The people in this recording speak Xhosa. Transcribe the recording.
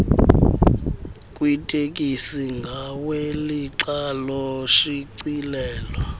kwitekisi ngawelixa loshicilelo